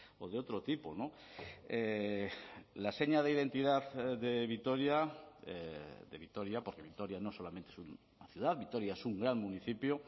o de otro tipo la seña de identidad de vitoria de vitoria porque vitoria no solamente es una ciudad vitoria es un gran municipio